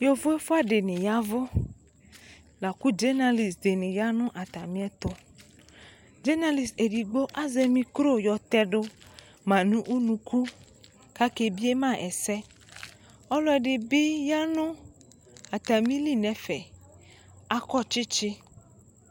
Yovo ɛfʋa dɩnɩ ya ɛvʋ, la kʋ dzenalis dɩnɩ ya nʋ atamɩ ɛtʋ, dzenalis edigbo azɛ mɩkro yɔtɛ dʋ ma nʋ unuku, kʋ akebie ma ɛsɛ, ɔlɔdɩ bɩ ya nʋ atamili nʋ ɛfɛ, akɔ tsɩtsɩ